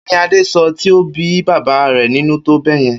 Kí ni Adé so̩ tí ó bí bàbá rè̩ nínú tó bé̩ye̩n?